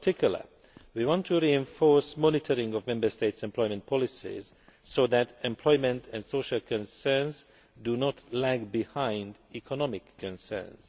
In particular, we want to reinforce monitoring of Member States' employment polices so that employment and social concerns do not lag behind economic concerns.